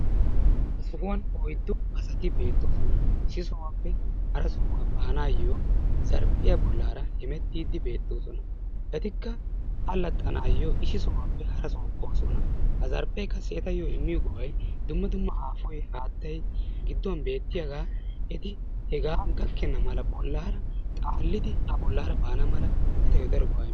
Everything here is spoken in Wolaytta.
Ha sohuwaan oyddu asati bettoosona. Issi sohuwappe hara sohuwa baanaayyo zarphphiyaa bollara hemettidi bettoosona. Etikka allxxanawu issi sohuwappe hara sohuwaa boossona. Ha zarphphe qassi etayo immiyo go"ay dumma dumma aafoy, hayttay gidduwan beettiyaaga eti hega gakkena mala bollara, xaalida a bollara baana mala etayo faro go"a immees.